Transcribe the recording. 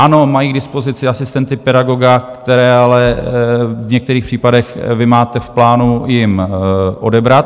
Ano, mají k dispozici asistenty pedagoga, které ale v některých případech vy máte v plánu jim odebrat.